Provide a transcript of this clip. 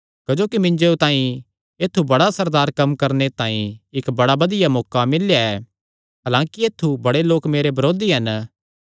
क्जोकि मिन्जो तांई ऐत्थु बड़े असरदार कम्म करणे तांई इक्क बड़ा बधिया मौका मिल्लेया ऐ हलांकि ऐत्थु बड़े लोक मेरे बरोधी हन